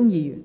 代理